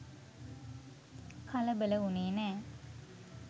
කලබල වුනේ නෑ.